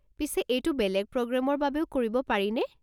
পিছে এইটো বেলেগ প্ৰগ্ৰেমৰ বাবেও কৰিব পাৰিনে?